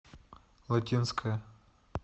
латинская